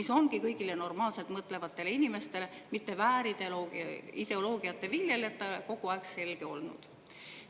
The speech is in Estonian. See on kõigile normaalselt mõtlevatele inimestele, mitte väärideoloogiate viljelejatele, kogu aeg selge olnud.